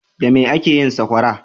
Da mai ake yin saƙwara?